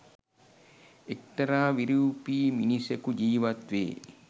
එක්තරා විරූපී මිනිසෙකු ජීවත් වේ